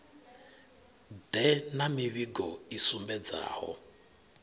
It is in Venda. ḓe na mivhigo i sumbedzaho